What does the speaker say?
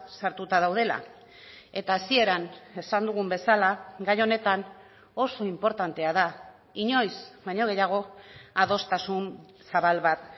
sartuta daudela eta hasieran esan dugun bezala gai honetan oso inportantea da inoiz baino gehiago adostasun zabal bat